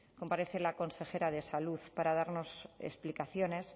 comparece la consejera de salud para darnos explicaciones